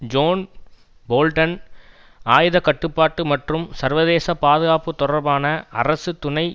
zone Bolton ஆயுத கட்டுப்பாட்டு மற்றும் சர்வதேச பாதுகாப்பு தொடர்பான அரசு துணை